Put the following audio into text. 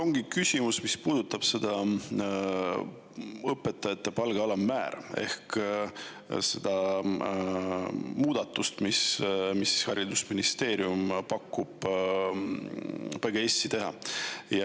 Mul on küsimus, mis puudutab õpetajate palga alammäära ehk muudatust, mida haridusministeerium tahab PGS-is teha.